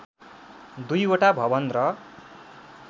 दुईवटा भवन र